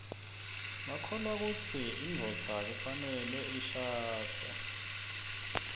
bakholwakutsi induodza kufaneleishadze